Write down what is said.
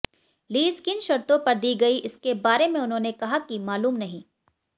lease किन शर्तों पर दी गई इसके बारे में उन्होंने कहा कि मालूम नहीं